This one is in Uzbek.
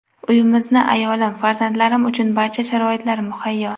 Uyimizda ayolim, farzandlarim uchun barcha sharoitlar muhayyo.